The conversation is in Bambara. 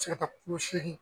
Sela ka kulo seegin.